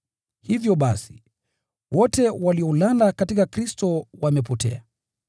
Hivyo basi, wote waliolala katika Kristo wamepotea.